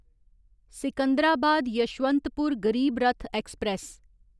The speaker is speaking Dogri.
सिकंदराबाद यशवंतपुर गरीब रथ ऐक्सप्रैस